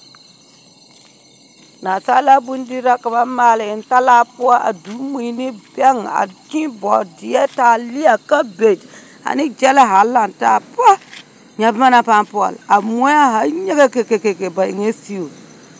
Nansaalaa bondiri la ka ba maale eŋ talaa poͻ a doge mii ne bԑŋ a kyee bͻͻdeԑ taaleԑ kabegi ane gyԑla zaa lantaa poa, nyԑ boma naŋ paa pͻle, a moԑ a zaa nyegekeke, ba seteewu.